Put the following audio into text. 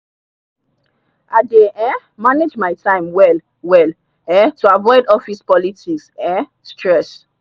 i dey um manage my time well well um to avoid office politics um stress